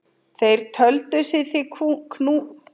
Þeir töldu sig því knúna til hernaðar.